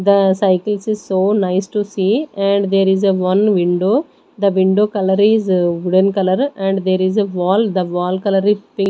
The cycles is so nice to see and there is a one window the window color is wooden color and there is a wall the wall color is pink.